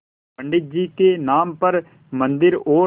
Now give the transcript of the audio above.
पंडित जी के नाम पर मन्दिर और